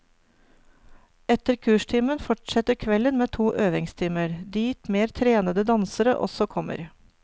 Etter kurstimen fortsetter kvelden med to øvingstimer, dit mer trenede dansere også kommer.